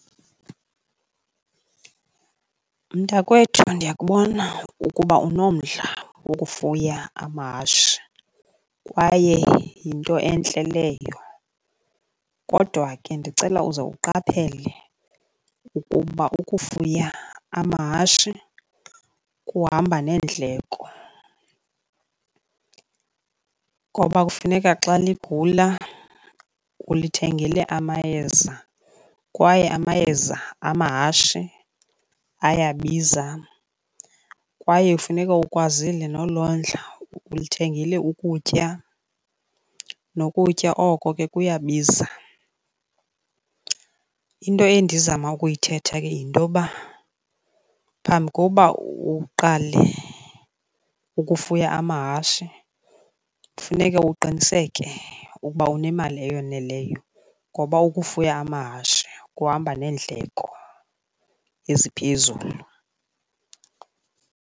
Mntakwethu, ndiyakubona ukuba unomdla wokufuya amahashe kwaye yinto entle leyo, kodwa ke ndicela uze uqaphele ukuba ukufuya amahashe kuhamba neendleko. Ngoba kufuneka xa ligula ulithengele amayeza kwaye amayeza amahashe ayabiza. Kwaye ufuneka ukwazile nolondla, ulithengile ukutya, nokutya oko ke kuyabiza. Into endizama ukuyithetha ke yinto yoba phambi kokuba uqale ukufuya amahashe funeka uqiniseke ukuba unemali eyoneleyo ngoba ukufuya amahashe kuhamba neendleko eziphezulu.